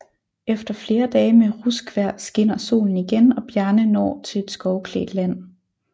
Efter flere dage med ruskvejr skinner solen igen og Bjarne når til et skovklædt land